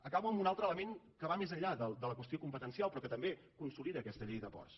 acabo amb un altre element que va més enllà de la qüestió competencial però que també consolida aquesta llei de ports